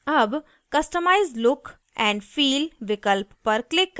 अब customise look and feel विकल्प पर click करें